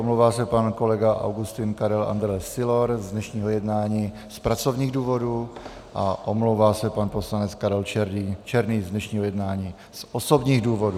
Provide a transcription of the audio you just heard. Omlouvá se pan kolega Augustin Karel Andrle Sylor z dnešního jednání z pracovních důvodů a omlouvá se pan poslanec Karel Černý z dnešního jednání z osobních důvodů.